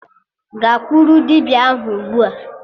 Gakwuru dibịa ahụ ugbua!